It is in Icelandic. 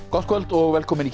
gott kvöld og velkomin í